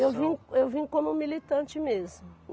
Eu vim, eu vim como militante mesmo.